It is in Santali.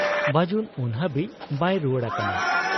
ᱵᱟᱹᱡᱩᱱ ᱩᱱ ᱦᱟᱹᱵᱤᱡ ᱵᱟᱭ ᱨᱩᱣᱟᱹᱲ ᱟᱠᱟᱱᱟ ᱾